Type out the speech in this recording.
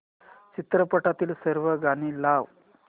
चित्रपटातील सर्व गाणी लाव